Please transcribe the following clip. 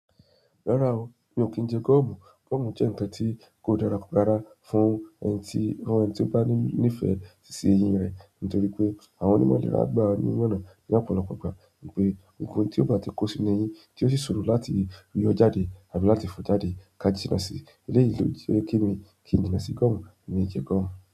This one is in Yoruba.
Rárá o, mi ò kí ń jẹ gọ́ọ̀mù. Gọ́ọ̀mù jẹ́ ǹnkan tí kò dára rára fún ẹni tí ó bá ní ìfẹ́ si iṣẹ́ eyín rẹ̀ nítorí pé àwọn onímọ̀ ìlera gbà ní ìmọ̀ràn ní ọ̀pọ̀lọpọ̀ ìgbà wipé ohun tí ó bá ti kó sí inú eyín tí ó sì sọ̀rọ̀ láti yọ́ jáde àbí láti fọ́ jáde kà jína sí eléyìí lo je wípé kíni kí ń jína sí gọ́ọ̀mù, emi ò jẹ gọ́ọ̀mù.